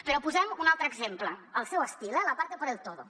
però posem ne un altre exemple al seu estil eh la parte por el todo